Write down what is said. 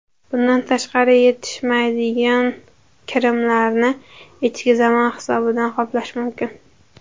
Bundan tashqari, yetishmaydigan kirimlarni ichki zayom hisobidan qoplash mumkin.